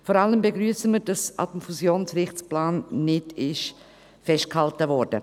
Vor allem begrüssen wir, dass am Fusionsrichtplan nicht festgehalten wurde.